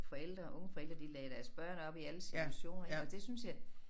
Forældre unge forældre de lagde deres børn op i alle situationer ik og det synes jeg